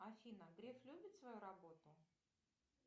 афина греф любит свою работу